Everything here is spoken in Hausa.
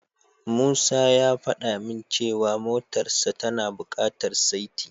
Musa ya fada min cewa motarsa tana bukatar saiti.